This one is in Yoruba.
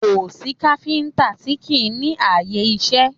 Kò sí káfíńtà tí kì í ní ààyè iṣẹ́